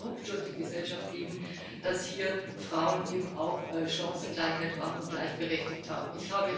Es muss ein Ruck durch die Gesellschaft gehen, dass hier Frauen eben auch Chancengleichheit haben und gleichberechtigt sind.